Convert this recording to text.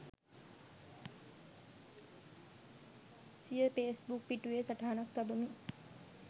සිය ෆේස්බුක් පිටුවේ සටහනක් තබමින්